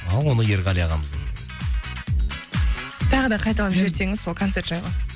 ал оны ерғали ағамыздан тағы да қайталап жіберсеңіз сол концерт жайлы